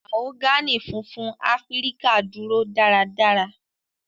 Mahogany funfun Afirika duro daradara.